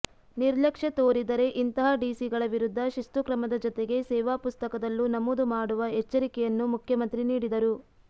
ನಿರ್ಲಕ್ಷ್ಯ ತೋರಿದರೆ ಇಂತಹ ಡಿಸಿಗಳ ವಿರುದ್ಧ ಶಿಸ್ತು ಕ್ರಮದ ಜತೆಗೆ ಸೇವಾಪುಸ್ತಕದಲ್ಲೂ ನಮೂದು ಮಾಡುವ ಎಚ್ಚರಿಕೆಯನ್ನು ಮುಖ್ಯಮಂತ್ರಿ ನೀಡಿದರು